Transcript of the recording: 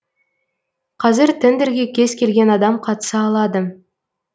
қазір тендерге кез келген адам қатыса алады